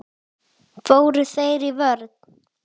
Fóru þeir í vörn?